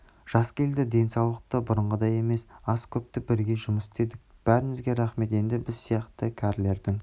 жас келді денсаулық та бұрынғыдай емес азды-көпті бірге жұмыс істедік бәріңізге рахмет енді біз сияқты кәрілердің